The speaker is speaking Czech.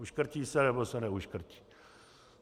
Uškrtí se, nebo se neuškrtí.